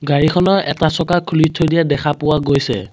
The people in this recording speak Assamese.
গাড়ীখনৰ এটা চকা খুলি থৈ দিয়া দেখা পোৱা গৈছে।